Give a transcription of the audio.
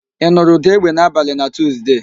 Ị nụrụ ụ̀dà égbè n'abalị na Tuuzde